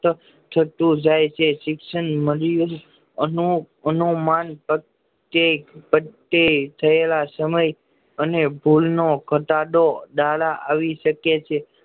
થતું જાય છે શિક્ષણ એનું અનુમાન કે થયેલા સમય અને ભૂલ નો ઘટાડો ડાલા આવી શકે છે